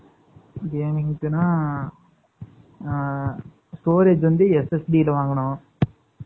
இருந்துச்சுன்னா, ஆ, storage வந்து, SSD ல வாங்குனோம்